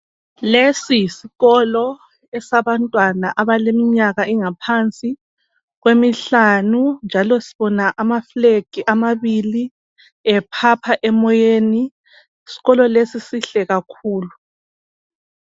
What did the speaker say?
Lesi yisikolo esabantwana abaleminyanga engaphansi kwemihlanu njalo sibona amaflag amabili ephapha emoyeni isikolo lesi sihle kakhulu.